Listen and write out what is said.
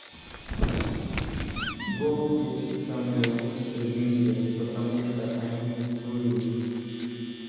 голуби самые лучшие в мире потому что они злые